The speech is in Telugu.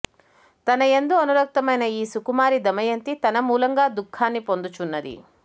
తనయందు అనురక్తయైన ఈ సుకుమారి దమయంతి తన మూలంగా దుఃఖాన్ని పొందుచున్నది